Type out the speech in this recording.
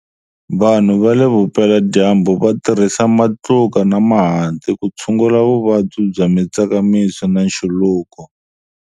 Vanhu va leVupeladyambu va tirhisa matluka na mahanti ku tshungula vuvabyi bya mitsakamiso na nchuluko.